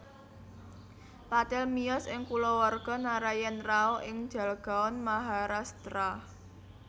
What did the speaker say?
Patil miyos ing kulawarga Narayan Rao ing Jalgaon Maharashtra